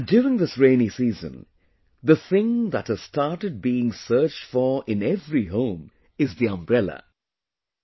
And during this rainy season, the thing that has started being searched for in every home is the ‘umbrella’